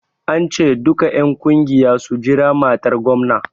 An ce duka en ƙungiya su jira matar gomna!